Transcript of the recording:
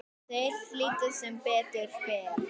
Þeir hlýddu, sem betur fer